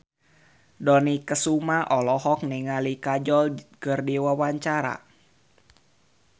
Dony Kesuma olohok ningali Kajol keur diwawancara